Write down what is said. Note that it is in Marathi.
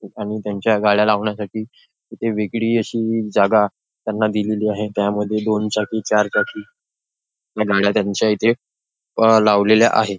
आणि त्यांच्या गाड्या लावण्यासाठी इथे वेगळी अशी जागा त्यांना दिलेली आहे. त्यामध्ये दोन चाकी चार चाकी गाड्या त्यांच्या इथे अंह लावलेल्या आहे.